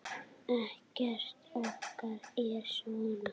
Ekkert okkar er svona.